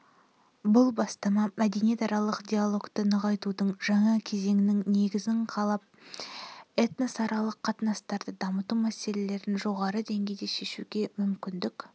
бұл бастама мәдениетаралық диалогты нығайтудың жаңа кезеңінің негізін қалап этносаралық қатынастарды дамыту мәселелерін жоғары деңгейде шешуге мүмкіндік